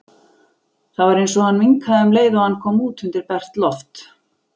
Það var eins og hann minnkaði um leið og hann kom út undir bert loft.